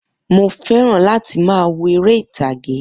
Mo fẹ́ràn láti máa wo eré ìtàgé